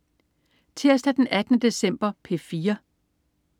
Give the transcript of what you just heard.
Tirsdag den 18. december - P4: